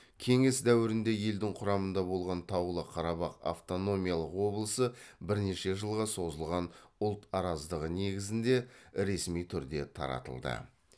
кеңес дәуірінде елдің құрамында болған таулы қарабақ автономиялық облысы бірнеше жылға созылған ұлт араздығы негізінде ресми түрде таратылды